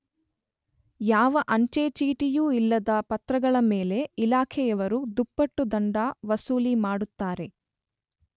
ಯಾವ ಅಂಚೆ ಚೀಟಿಯೂ ಇಲ್ಲದ ಪತ್ರಗಳ ಮೇಲೆ ಇಲಾಖೆಯವರು ದುಪ್ಪಟ್ಟು ದಂಡ ವಸೂಲಿ ಮಾಡುತ್ತಾರೆ.